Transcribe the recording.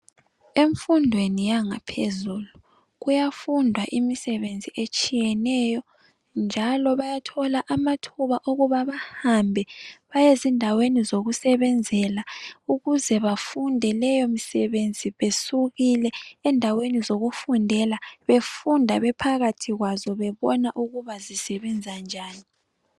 Emfundweni yangaphezulu kuyafundwa imisebenzi etshiyeneyo njalo bayathola amathuba okuba bahambe bayezindaweni zokusebenzela ukuze bafunde leyo misebenzi besukile endaweni zokufundela, befunde bephakathi kwazo bebona ukuba zisebenza njani.